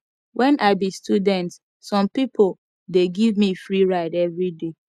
wen i be student some pipo dey give me free ride everyday